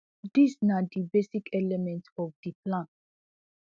dis na di basic elements of di plan